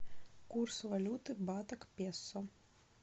курс валюты бата к песо